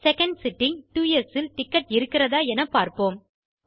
second sitting two sஇல் டிக்கெட் இருக்கிறதா என பார்ப்போம்